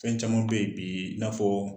Fɛn caman be ye bii i n'a fɔɔ